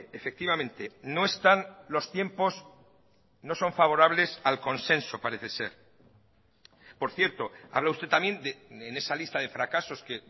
efectivamente no están los tiempos no son favorables al consenso parece ser por cierto habla usted también en esa lista de fracasos que